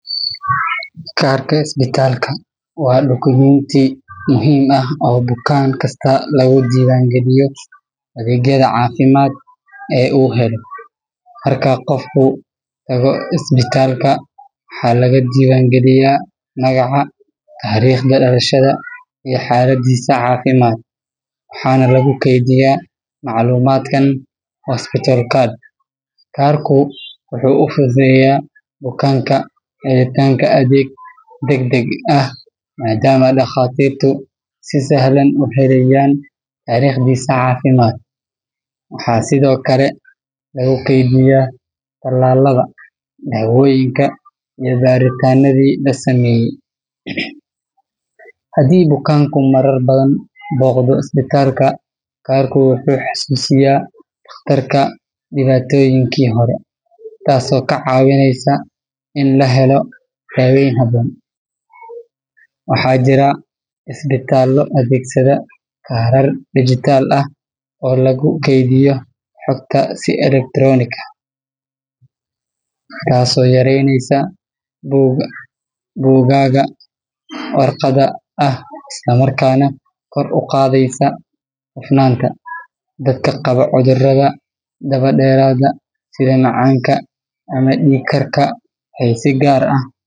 Kaarka isbitaalka waa dukumiinti muhiim ah oo bukaan kasta lagu diiwaangaliyo adeegyada caafimaad ee uu helo. Marka qofku tago isbitaalka, waxaa laga diiwaangeliyaa magaca, taariikhda dhalashada, iyo xaaladdiisa caafimaad, waxaana lagu keydiyaa macluumaadkan hospital card. Kaarku wuxuu u fududeeyaa bukaanka helitaanka adeeg degdeg ah maadaama dhakhaatiirtu si sahlan u helayaan taariikhdiisa caafimaad. Waxaa sidoo kale lagu kaydiyaa tallaalada, daawooyinka, iyo baaritaannadii la sameeyay. Haddii bukaanku marar badan booqdo isbitaalka, kaarku wuxuu xasuusinayaa dhakhtarka dhibaatooyinkii hore, taasoo ka caawinaysa in la helo daaweyn habboon. Waxaa jira isbitaallo adeegsada kaarar digital ah oo lagu kaydiyo xogta si elektaroonik ah, taasoo yareyneysa buugagga warqadda ah isla markaana kor u qaadaysa hufnaanta. Dadka qaba cudurrada daba dheeraada sida macaanka ama dhiig karka waxay si gaar ah.